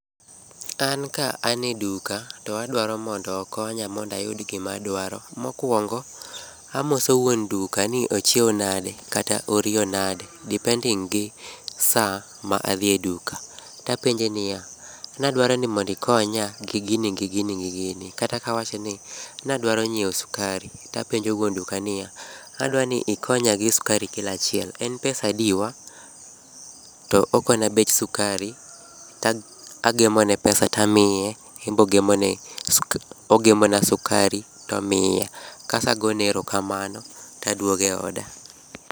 An ka aneduka to adwaro mondo okonya mondayud gimadwaro. Mokwongo, amoso wuon duka ni ochieo nade kata oriyo nade depending gi sa ma adhie e duka. Tapenje niya, nadwaro nimondo ikonya gi gini gi gini gi gini. Kata kawachoni nadwaro nyiewo sukari, tapenjo wuon duka niya, adwani ikonya gi skari kilo achiel, en pesadiwa? To okona bech sukari, to agemone pesa tamiye embe ogemona sukari tomiya, kaso agone erokamano tadwoge oda.